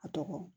A tɔgɔ